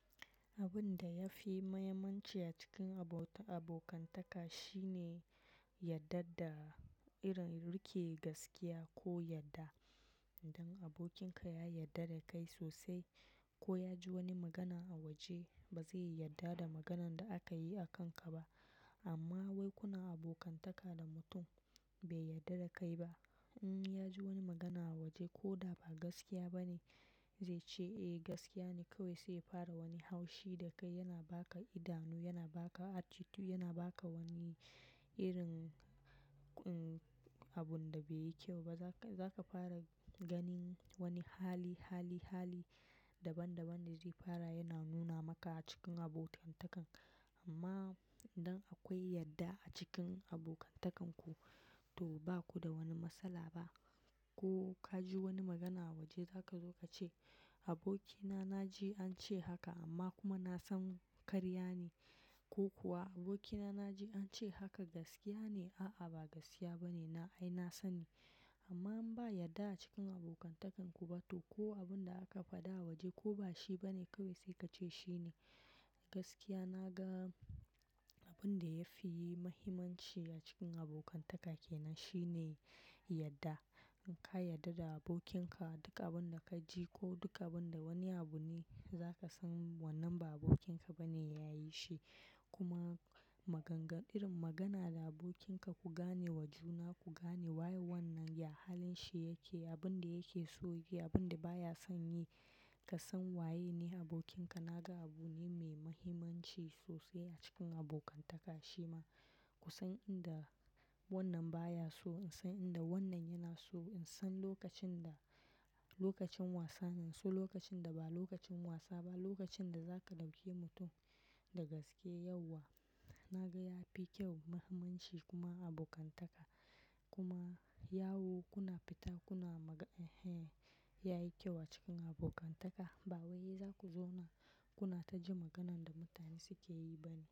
Abin da ya fi muhimmanci a cikin abota abokantaka shine yadda da irin riƙe gaskiya ko yadda. Idan abokinka ya yarda da kai sosai ko ya ji wani magana a waje, ba zai yadda da maganan da aka yi a kanka ba. Amma wai kuna abokantaka da mutum bai yadda da kai ba. In ya ji wani magana a waje ko da ba gaskiya ba ne, zai ce eh gaskiya ne. Kai wai sai ya fara wani haushi da kai, yana baka idanu, yana baka attitude, yana baka wani irin, um, abun da bai yi kyau ba. Za ka, za ka fara ganin wani hali, hali, hali daban daban da zai fara yana nuna maka a cikin abotantakan ku. Amma idan akwai yadda a cikin abokantakan ku, to ba ku da wani matsala ba. Ko ka ji wani magana a waje, za ka zo ka ce: "Abokina, na ji an ce haka amma kuma na san karya ne." Ko kuwa, "Abokina, na ji an ce haka gaskiya ne." A'a, ba gaskiya ba ne. Na, ai na sani. Amma in ba yadda a cikin abokantakan ku ba toh. Ko abin da aka faɗa a waje ko ba shi bane, kai sai ka ce shine. Gaskiya, ina ga abin da yafi muhimmanci a cikin abokantaka kenan shine yadda. In ka yadda da abokinka, duka abin da ka ji ko duka abin da wani abu ne, za ka san wannan ba abokinka bane ya yi shi. Kuma maganganu irin magana da abokinka ku gane wa juna, ku gane waye wannan, ya halin shi yake, abin da yake son yi, abin da baya son yi. Ka san waye ne abokinka. Na ga abu ne mai muhimmanci sosai a cikin abokantaka. Shi ma ku san abinda wannan baya so, in san abinda wannan yake so. In san lokacin da, lokacin wasa ne, so lokacin da ba lokacin wasa ba, lokacin da za ka dauke mutum da gaske yauwa. Na ga ya fi kyau, muhimmanci kuma a abokantaka. Kuma yawo kuna fita kuna magana, eh, ya yi kyau a cikin abokantaka. Ba wai za ku zauna kuna tajin maganan da mutane suke yi bane.